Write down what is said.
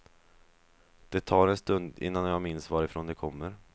Det tar en stund innan jag minns varifrån de kommer.